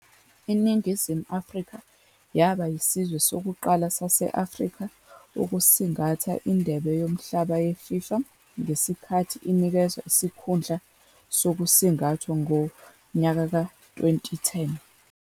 INingizimu Afrika yaba yisizwe sokuqala sase-Afrika ukusingatha iNdebe Yomhlaba yeFIFA ngesikhathi inikezwa isikhundla sokusingathwa ngowezi- 2010.